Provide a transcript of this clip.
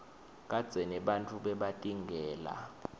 kadzeni bantfu bebatingela